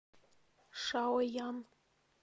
шаоян